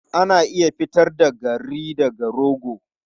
Ana iya fitar da garri daga rogo.